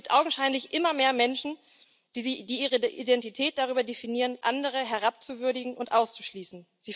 Es gibt augenscheinlich immer mehr Menschen, die ihre Identität darüber definieren, andere herabzuwürdigen und auszuschließen.